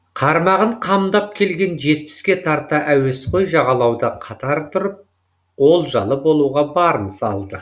қармағын қамдап келген жетпіске тарта әуесқой жағалауда қатар тұрып олжалы болуға барын салды